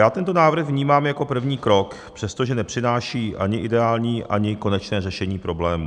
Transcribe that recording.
Já tento návrh vnímám jako první krok, přestože nepřináší ani ideální, ani konečné řešení problému.